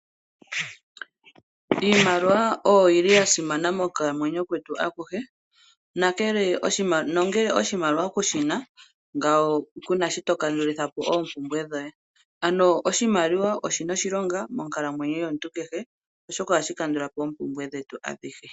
Iimiwa oyo yi li ya simana moku kalamwenyo kwetu akuhe, nongele oshimaliwa kushina, Kuna shi to kandulithapo oompumbwe dhoye. Oshimaliwa oshina oshilonga, monkalamwenyo yomuntu kehe, oshoka oha shi kandulapo oompumbwe dhetu adhihe.